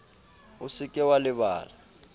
o se ke wa lebala